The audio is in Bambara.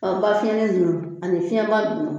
An ba fiɲɛnin ninnu ani fiɲɛba ninnu